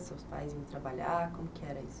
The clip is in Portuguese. Se os pais iam trabalhar, como que era isso?